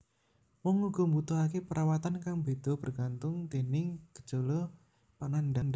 Wong uga mbutuhake perawatan kang bedha bergantung déning gejala panandhang